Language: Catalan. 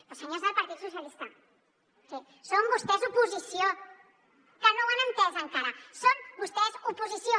però senyors del partit socialista o sigui són vostès oposició que no ho han entès encara són vostès oposició